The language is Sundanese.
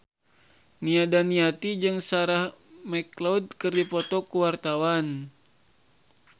Nia Daniati jeung Sarah McLeod keur dipoto ku wartawan